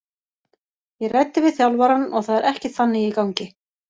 Ég ræddi við þjálfarann og það er ekkert þannig í gangi.